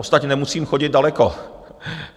Ostatně nemusím chodit daleko.